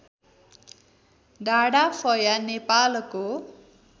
डाँडाफया नेपालको